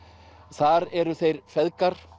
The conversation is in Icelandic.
þar eru þeir feðgar